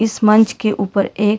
इस मंच के ऊपर एक--